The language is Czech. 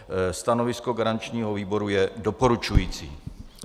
Stanovisko garančního výboru je doporučující.